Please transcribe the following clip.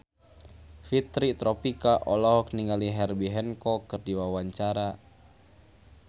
Fitri Tropika olohok ningali Herbie Hancock keur diwawancara